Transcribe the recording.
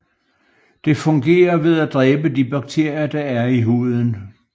Det fungerer ved at dræbe de bakterier der er i huden